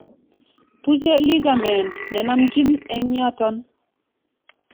Tuche ligament nenomchin eng' yooton